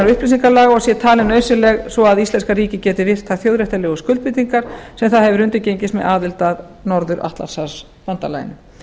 upplýsingalaga og sé talin nauðsynleg svo að íslenska ríkið geti virt þær þjóðréttarlegu skuldbindingar sem það hefur undirgengist með aðild að norður atlantshafsbandalaginu